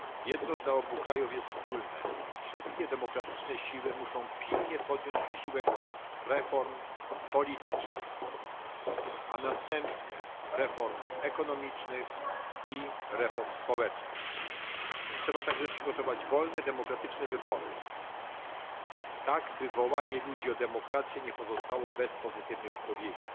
Jedno dla obu krajów jest wspólne wszystkie demokratyczne siły muszą pilnie podjąć wysiłek reform politycznych, a następnie reform ekonomicznych i społecznych. Trzeba także przygotować wolne i demokratyczne wybory, tak by wołanie ludzi o demokrację nie pozostało bez pozytywnej odpowiedzi.